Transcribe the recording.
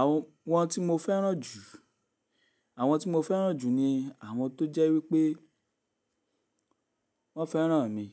Àwọn tí mo fẹ́ràn jù, àwọn tí mo fẹ́ràn jù ni àwọn tó jẹ́ wípé wọ́n fẹ́ràn mi.